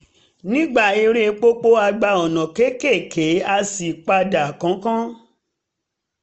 nígbà eré pópó a gba ọ̀nà kékèké a sì padà kánkán